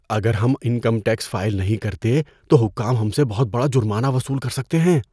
اگر ہم income tax file نہیں کرتے تو حکام ہم سے بہت بڑا جرمانہ وصول کر سکتے ہیں۔